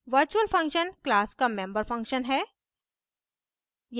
virtual function class का member function है